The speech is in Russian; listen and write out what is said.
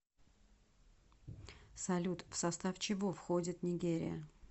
салют в состав чего входит нигерия